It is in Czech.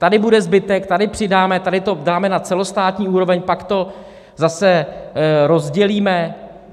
Tady bude zbytek, tady přidáme, tady to dáme na celostátní úroveň, pak to zase rozdělíme.